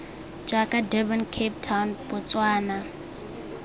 jaaka durban cape town botswana